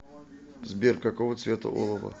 сбер какого цвета олово